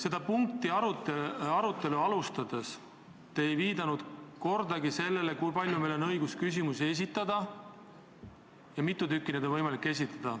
Ja ettepaneku arutelu alustades te ei viidanud kordagi, kui palju on meil õigus küsida – mitu küsimust igaühel on võimalik esitada.